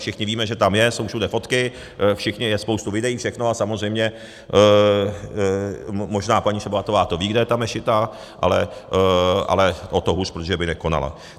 Všichni víme, že tam je, jsou všude fotky, je spousta videí, všechno, a samozřejmě možná paní Šabatová to ví, kde je ta mešita, ale o to hůř, protože by nekonala.